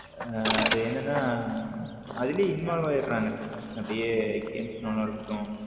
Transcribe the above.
அது என்னன்னா அதுலே involve ஆகிரங்க அப்பிடியா games நோன்றதா இருக்கட்டும்.